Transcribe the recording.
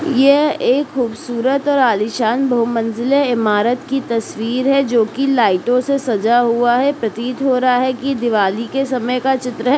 ये एक खूबसूरत और आलिशान बहुमंजिला इमारत की तस्वीर है जोकि लाइटों से सजा हुआ है प्रतीत हो रहा की दीवाली के चित्र का समय है